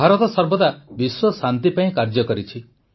ଭାରତ ସର୍ବଦା ବିଶ୍ୱଶାନ୍ତି ପାଇଁ କାର୍ଯ୍ୟ କରିଛି